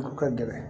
Ka gɛlɛn